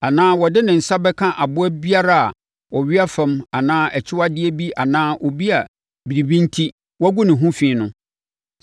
anaa ɔde ne nsa bɛka aboa biara a ɔwea fam anaa akyiwadeɛ bi anaa obi a biribi enti, wɔagu ne ho fi no,